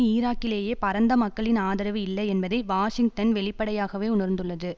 ஈராக்கிலேயே பரந்த மக்களின் ஆதரவு இல்லை என்பதை வாஷிங்டன் வெளிப்படையாகவே உணர்ந்துள்ளது